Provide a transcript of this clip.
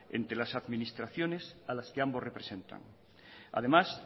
entre las administraciones a las que ambos representan además